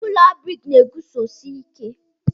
Ụlọ ndị briki guzosiri ike.